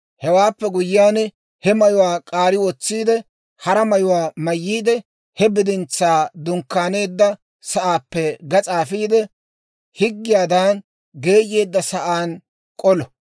Hewaappe guyyiyaan, he mayuwaa k'aari wotsi hara mayuwaa mayyiide, he bidintsaa dunkkaaneedda sa'aappe gas'aa afiide, higgiyaadan geeyeedda sa'aan k'olo.